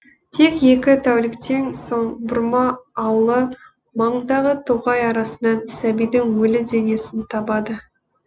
тек екі тәуліктен соң бұрма ауылы маңындағы тоғай арасынан сәбидің өлі денесін табады